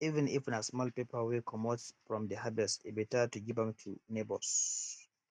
even if na small pepper wey comot from de harvest e beta to give am to neighbors